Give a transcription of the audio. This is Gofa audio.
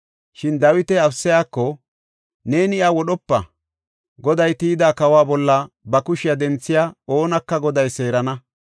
Shin Dawiti Abisayako, “Neeni iya wodhopa; Goday tiyida kawa bolla ba kushiya denthiya oonaka Goday seerana.